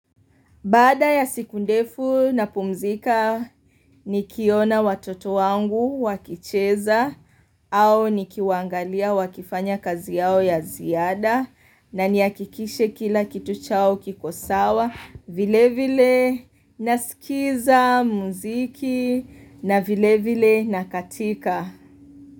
Baada ya siku ndefu napumzika nikiona watoto wangu wakicheza au nikiwaangalia wakifanya kazi yao ya ziada na nihakikishe kila kitu chao kikosawa vile vile nasikiza muziki na vile vile nakatika.